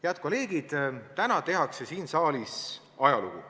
Head kolleegid, täna tehakse siin saalis ajalugu.